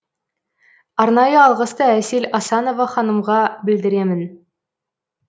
арнайы алғысты әсел асанова ханымға білдіремін